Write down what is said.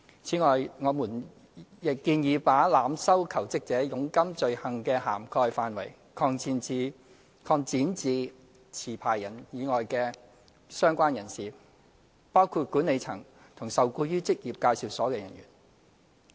此外，我們亦建議把濫收求職者佣金罪行的涵蓋範圍，擴展至持牌人以外的相關人士，包括管理層及受僱於職業介紹所的人員。